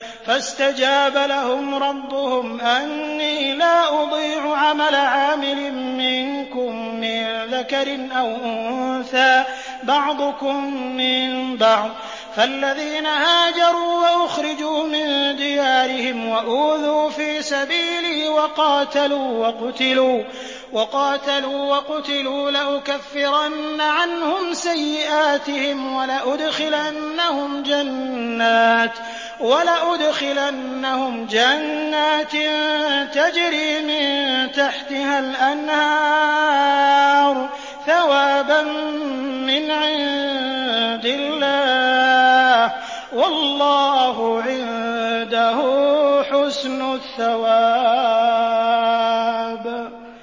فَاسْتَجَابَ لَهُمْ رَبُّهُمْ أَنِّي لَا أُضِيعُ عَمَلَ عَامِلٍ مِّنكُم مِّن ذَكَرٍ أَوْ أُنثَىٰ ۖ بَعْضُكُم مِّن بَعْضٍ ۖ فَالَّذِينَ هَاجَرُوا وَأُخْرِجُوا مِن دِيَارِهِمْ وَأُوذُوا فِي سَبِيلِي وَقَاتَلُوا وَقُتِلُوا لَأُكَفِّرَنَّ عَنْهُمْ سَيِّئَاتِهِمْ وَلَأُدْخِلَنَّهُمْ جَنَّاتٍ تَجْرِي مِن تَحْتِهَا الْأَنْهَارُ ثَوَابًا مِّنْ عِندِ اللَّهِ ۗ وَاللَّهُ عِندَهُ حُسْنُ الثَّوَابِ